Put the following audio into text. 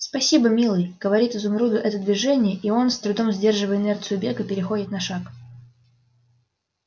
спасибо милый говорит изумруду это движение и он с трудом сдерживая инерцию бега переходит на шаг